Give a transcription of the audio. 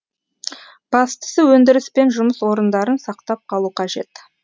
бастысы өндіріс пен жұмыс орындарын сақтап қалу қажет